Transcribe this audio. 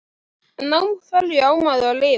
En á hverju á maður að lifa?